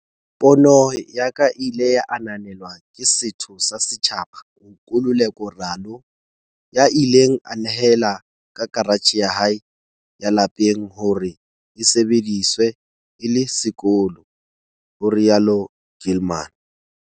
"Pono ya ka e ile ya ananelwa ke setho sa setjhaba, Nkululeko Ralo, ya ileng a nehela ka karatjhe ya hae ya lapeng hore e sebediswe e le sekolo," ho rialo Gilman.